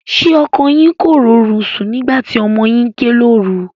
Ṣé ọkọ yín kò rórun sùn nígbà tí ọmọ yín ké lóru?